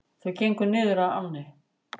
Þau gengu niður að ánni.